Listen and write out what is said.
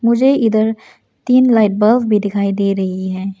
मुझे इधर तीन लाइट बल्ब भी दिखाई दे रही है।